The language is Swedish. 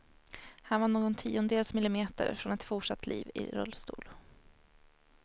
Han var någon tiondels millimeter från ett fortsatt liv i rullstol.